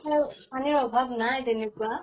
পানীৰ অভাব নাই তেনেকুৱা